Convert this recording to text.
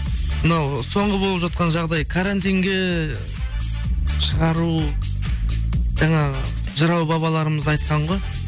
мынау соңғы болып жатқан жағдай карантинге шығару жаңағы жырау бабаларымыз айтқан ғой